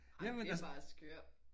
Ej det er bare skørt